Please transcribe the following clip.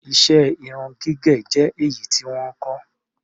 Iṣẹ́ irun gígẹ̀ jẹ́ èyí tí wọ́n ń kọ́.